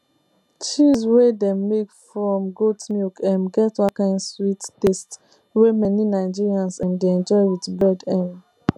cheese wey dem make from goat milk um get one kind sweet taste wey many nigerians um dey enjoy with bread um